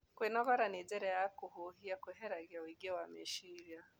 Kwĩnogora na njĩra ya kũhũhĩa kweheragĩa ũĩngĩ wa mechĩrĩa